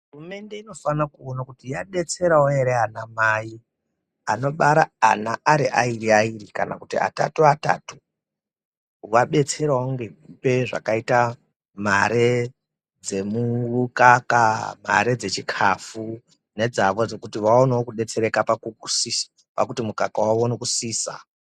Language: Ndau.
Hurumende inofana kuona kuti yadetserawo ana mai anobara ana Ari aviri viri kana atatu atatu kuvadetserawo nekupa zvakaita mare dzemukaka mare dzechikafu nedzavo kuti vaonewo kudetsereka ngekuti mukaka unosisa.